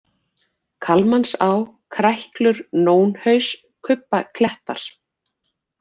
Kalmansá, Kræklur, Nónhaus, Kubbaklettar